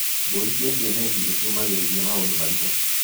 Mbũri cia kienyeji nĩciũmagĩrĩria maũndũ maritũ.